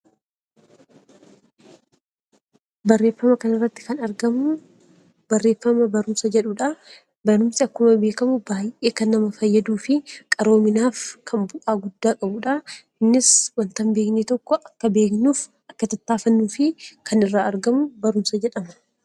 Barreeffama kana irratti kan argamu, barreeffama barumsa jedhudha. Barumsi akkuma beekamu, baayyee kan nama fayyaduu fi qaroominaaf kan bu'aa guddaa qabudha. Innis waanta hin beekne tokko akka beeknu akka tattaafannuu fi kan irraa argamu barumsa jedhama.